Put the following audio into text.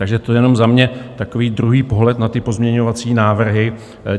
Takže to jenom za mě takový druhý pohled na ty pozměňovací návrhy.